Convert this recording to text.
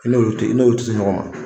I n'olu tɛ i n'olu tɛ se ɲɔgɔn ma